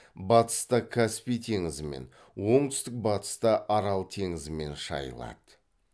батыста каспий теңізімен оңтүстік батыста арал теңізімен шайылады